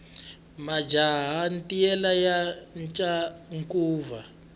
majaha ntiyela ya thya ncuva